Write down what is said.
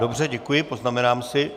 Dobře, děkuji, poznamenám si.